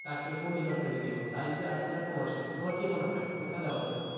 তাকে কোন department এ দিবো? science এ arts এ না commerce এ? তোমার কি মনে হয় কোথায় দেওয়া উচিত?